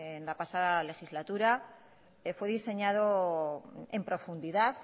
en la pasada legislatura que fue diseñado en profundidad